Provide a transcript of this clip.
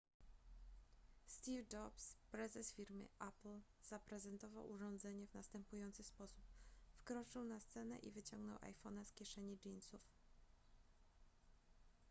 steve jobs prezes firmy apple zaprezentował urządzenie w następujący sposób wkroczył na scenę i wyciągnął iphone'a z kieszeni jeansów